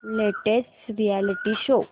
latest reality show